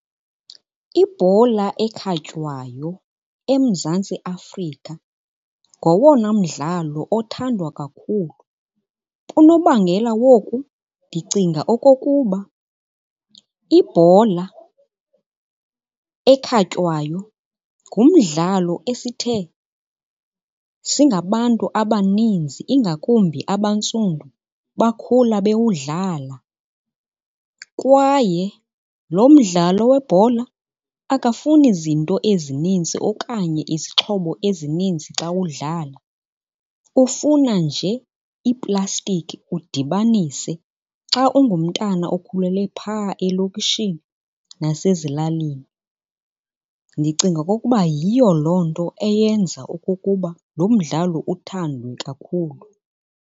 Ibhola ekhatywayo eMzantsi Afrika ngowona mdlalo othandwa kakhulu. Unobangela woku ndicinga okokuba ibhola ekhatywayo ngumdlalo esithe singabantu abaninzi ingakumbi abantsundu bakhula bewudlala kwaye lo mdlalo webhola akafuni zinto ezininzi okanye izixhobo ezininzi xa udlala, ufuna nje iiplastiki udibanise xa ungumntana okhulele phaa elokishini nasezilalini. Ndicinga okokuba yiyo loo nto eyenza okokuba lo mdlalo uthandwe kakhulu.